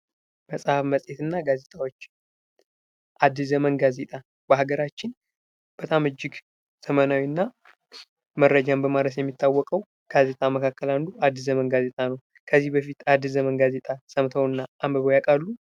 መፅሀፍ፣ መፅሄትና ጋዜጦች አዲስ ዘመን ጋዜጣ በሀገራችን በጣም እጅግ ዘመናዊ እና መረጃን በማድረስ የሚታወቀው ጋዜጣ መካከል አዲስ ዘመን ጋዜጣ ነው። ከዚህ በፊት አዲስ ዘመን ጋዜጣ ሰምተው እና አንብበው ያቃሉ?